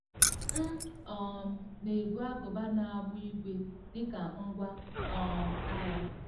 M um na-ebu agụba na agbụ ígwè dị ka ngwá um agha.